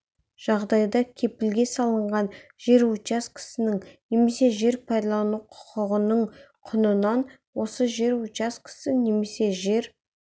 жағдайда кепілге салынған жер учаскесінің немесе жер пайдалану құқығының құнынан осы жер учаскесі немесе жер